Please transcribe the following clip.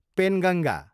Penganga